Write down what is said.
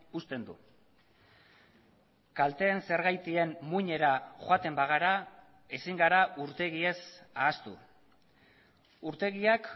uzten du kalteen zergatien muinera joaten bagara ezin gara urtegiez ahaztu urtegiak